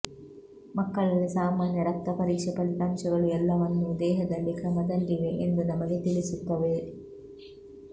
ಮಕ್ಕಳಲ್ಲಿ ಸಾಮಾನ್ಯ ರಕ್ತ ಪರೀಕ್ಷೆ ಫಲಿತಾಂಶಗಳು ಎಲ್ಲವನ್ನೂ ದೇಹದಲ್ಲಿ ಕ್ರಮದಲ್ಲಿವೆ ಎಂದು ನಮಗೆ ತಿಳಿಸುತ್ತವೆ